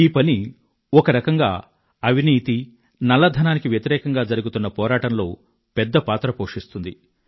ఈ పని ఒక రకంగా అవినీతి నల్లధనానికి వ్యతిరేకంగా జరుగుతున్న పోరాటంలో పెద్ద పాత్ర పోషిస్తుంది